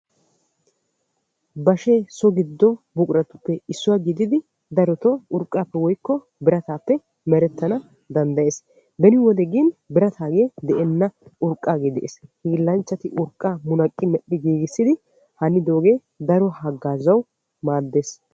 Bashee so giddo buquraappe issuwaa gididi darotoo urqqaappe woykko birataappe merettanawu danddayees. beni wode gin biratay de"enna urqqaagee de'ees. hiillachchati urqqaa munaqqi medhdhi giigissidogee daro haggaazawu maaddees.